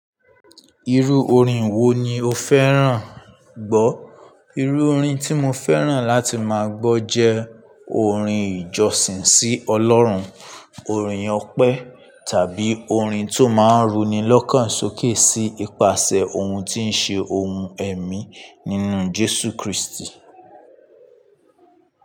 Irú orin wo ni o fẹ́ràn gbọ́? Irú orin tí mo fẹ́ràn láti máa gbọ́ jẹ́ orin ìjọsìn sí Ọlọ́run, orin ọpẹ́ tàbí orin tó máa ń runi lọ́kàn sókè sí ipasẹ̀ ohun tí ń ṣe ohun ẹ̀mí nínú Jésù Kristi.